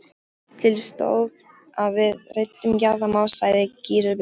Til stóð að við ræddum jarðamál, sagði Gizur biskup.